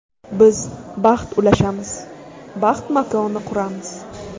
Biz baxt ulashamiz, baxt makoni quramiz.